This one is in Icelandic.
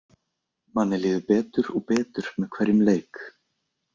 Manni líður betur og betur með hverjum leik.